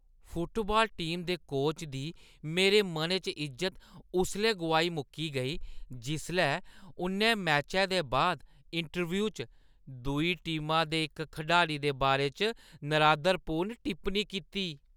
Football team दे coach दी मेरे मनै च इज्जत उसलै गोआई मुक्की गेई जिसलै उʼन्नै मैचै दे बाद इंटरव्यू च दूई टीमा दे इक खडारी दे बारे च नरादरपूर्ण टिप्पणी कीती।